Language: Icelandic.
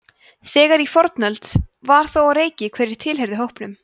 þegar í fornöld var þó á reiki hverjir tilheyrðu hópnum